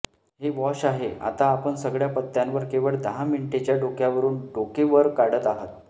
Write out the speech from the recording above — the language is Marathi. हे वॉश आहे आता आपण सगळ्या पत्त्यांवर केवळ दहा मिनिटेच्या डोक्यावरुन डोके वर काढत आहात